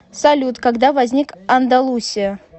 салют когда возник андалусия